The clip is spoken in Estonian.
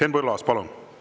Henn Põlluaas, palun!